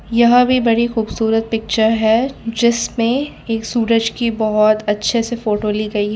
यह भी बड़ी खूबसूरत पिक्चर है जिसमें एक सूरज की बहोत अच्छे से फोटो ली गई--